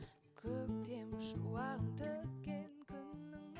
көктем шуағын төккен күннің